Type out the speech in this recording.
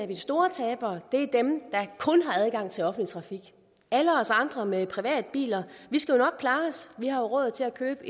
de store tabere er dem der kun har adgang til offentlig trafik alle os andre med privatbiler skal nok klare os vi har råd til at købe